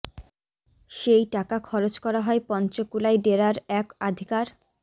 সেই টাকা খরচ করা হয় পঞ্চকুলায় ডেরার এক আধিকার